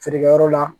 Feerekɛyɔrɔ la